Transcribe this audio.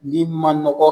Ni ma nɔgɔ